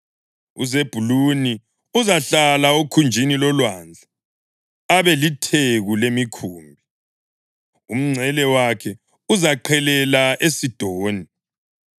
UZebhuluni uzahlala okhunjini lolwandle abe litheku lemikhumbi; umngcele wakhe uzaqhelela eSidoni.